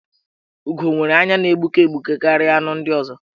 Ugo nwere anya na-egbuke egbuke karịa anụ ndị ọzọ.